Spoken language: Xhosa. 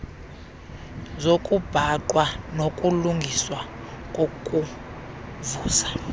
zokubhaqwa nokulungiswa kokuvuza